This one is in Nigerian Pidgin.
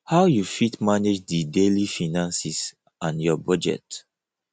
how you fit manage di daily finances and your budget